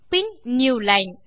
bin new line